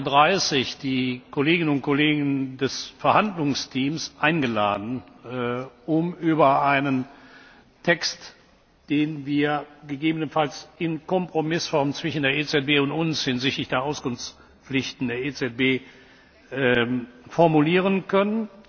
8.30 Uhr, die Kolleginnen und Kollegen des Verhandlungsteams eingeladen, um über einen Text zu beraten, den wir gegebenenfalls in Kompromissform zwischen der EZB und uns hinsichtlich der Auskunftspflichten der EZB formulieren können.